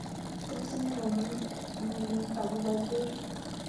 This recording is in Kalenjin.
Tos imwowon ngalek agobo Joshua